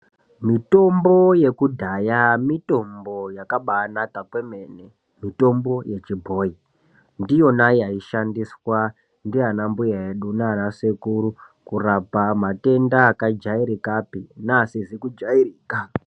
Mitombo yekudhaya mitombo yakabanaka kwemene mitombo yechibhoyi ndiyona yaishandiswa nanambuya nanasekuru edu kurapa matenda akajairikapi neasizi kujairika.